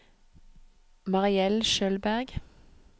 Mariell Schjølberg